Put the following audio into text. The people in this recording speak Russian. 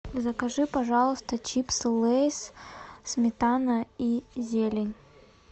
закажи пожалуйста чипсы лейс сметана и зелень